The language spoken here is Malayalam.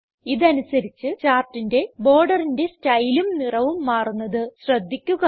ഇതനുസരിച്ച് ചാർട്ടിന്റെ ബോർഡറിന്റെ സ്റ്റൈലും നിറവും മാറുന്നത് ശ്രദ്ധിക്കുക